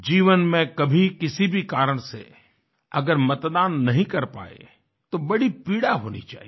जीवन में कभी किसी भी कारण से अगर मतदान नहीं कर पाए तो बड़ी पीड़ा होनी चाहिए